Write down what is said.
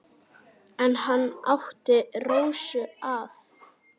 En hann átti Rósu að.